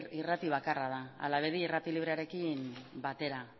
irrati bakarra da hala bedi irrati librearekin batera